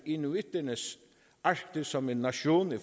inuitternes arktis som en nation i